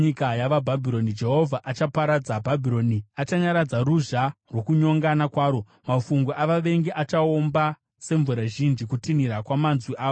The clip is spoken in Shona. Jehovha achaparadza Bhabhironi; achanyaradza ruzha rwokunyongana kwaro. Mafungu avavengi achaomba semvura zhinji; kutinhira kwamanzwi avo kuchanzwikwa.